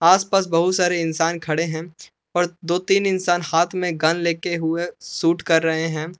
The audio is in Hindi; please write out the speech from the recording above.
आसपास बहुत सारे इंसान खड़े है और दो तीन इंसान हाथ मे गन लेके हुए शूट कर रहे है।